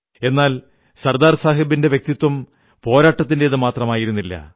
എന്നാൽ സർദാർ സാഹബിന്റെ വ്യക്തിത്വം പോരാട്ടത്തിന്റേതു മാത്രമായിരു ന്നില്ല